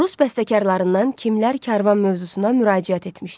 Rus bəstəkarlarından kimlər karvan mövzusuna müraciət etmişdi?